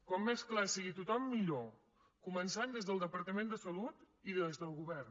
com més clar sigui tothom millor començant des del departament de salut i des del govern